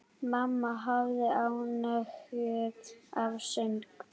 Mamma hafði ánægju af söng.